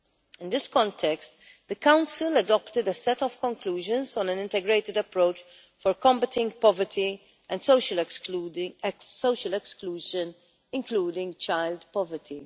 In this context, the Council adopted a set of conclusions on an integrated approach for combating poverty and social exclusion including child poverty.